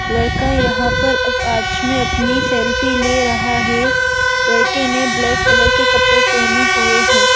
लड़का यहां पर अब आच में अपनी सेल्फी ले रहा है लड़के ने ब्लैक कलर के कपड़े पहने हुए हैं।